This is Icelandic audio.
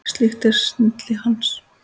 Slík er snilli hans.